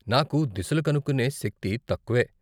నాకు దిశలు కనుక్కునే శక్తి తక్కువే.